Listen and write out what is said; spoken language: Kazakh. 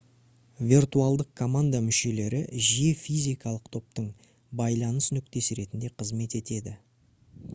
виртуалдық команда мүшелері жиі физикалық топтың байланыс нүктесі ретінде қызмет етеді